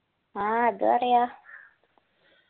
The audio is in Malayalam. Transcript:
ആ അത് പറയാ